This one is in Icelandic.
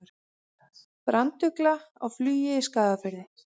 Brandugla á flugi í Skagafirði.